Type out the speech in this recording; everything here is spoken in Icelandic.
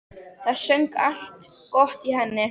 Það söng allt gott í henni.